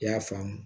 I y'a faamu